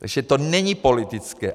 Takže to není politické.